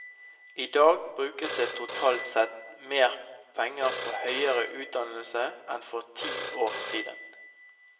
I dag brukes det totalt sett mer penger på høyere utdannelse enn for ti år siden.